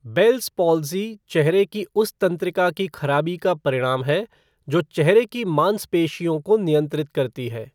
Bells palsy चेहरे की उस तंत्रिका की खराबी का परिणाम है, जो चेहरे की मांसपेशियों को नियंत्रित करती है।